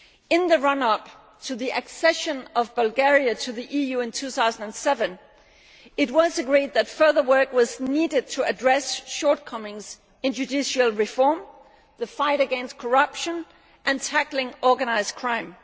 In the run up to the accession of Bulgaria to the EU in 2007, it was agreed that further work was needed to address shortcomings in judicial reform, the fight against corruption and tackling organised crime.